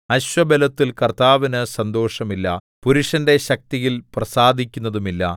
അശ്വബലത്തിൽ കർത്താവിന് സന്തോഷമില്ല പുരുഷന്റെ ശക്തിയിൽ പ്രസാദിക്കുന്നതുമില്ല